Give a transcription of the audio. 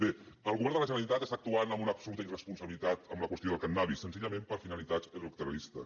bé el govern de la generalitat està actuant amb una absoluta irresponsabilitat en la qüestió del cànnabis senzillament per finalitats electoralistes